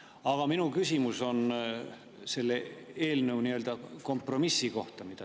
Aga minu küsimus on selle eelnõu nii‑öelda kompromissi kohta.